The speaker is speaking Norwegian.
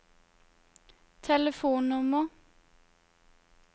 telefonnummer